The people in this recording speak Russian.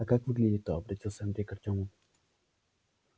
а как выглядит-то обратился андрей к артёму